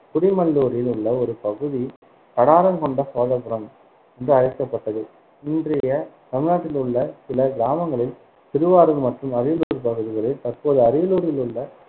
குடிமல்லூரில் உள்ள ஒரு பகுதி கடாரம் கொண்ட சோழபுரம் என்று அழைக்கப்பட்டது. இன்றைய தமிழ்நாட்டில் உள்ள சில கிராமங்களில் திருவாரூர் மற்றும் அரியலூர் பகுதிகளில் தற்போதைய அரியலூரில் உள்ள